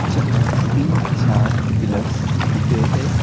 जहां तीन चार पिलर्स दिख रहे हैं।